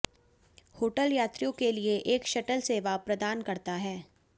hotel यात्रियों के लिए एक शटल सेवा प्रदान करता है